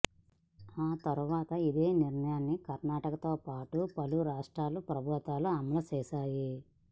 ఆ తర్వాత ఇదే నిర్ణయాన్ని కర్ణాటకతో పాటు పలు రాష్ట్ర ప్రభుత్వాలు అమలు చేశాయి